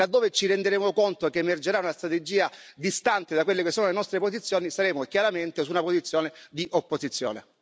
Laddove ci renderemo conto che emergerà una strategia distante da quelle che sono le nostre posizioni, saremo chiaramente su una posizione di opposizione.